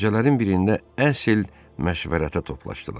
və gecələrin birində əsl məşvərətə toplaşdılar.